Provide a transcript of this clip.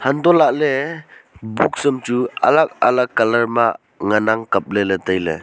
hantoh lahley books am chu alag alag colour ma ngan ang kapley ley tailey.